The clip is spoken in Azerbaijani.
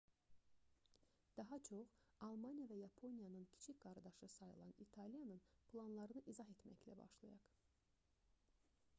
daha çox almaniya və yaponiyanın kiçik qardaşı sayılan i̇taliyanın planlarını izah etməklə başlayaq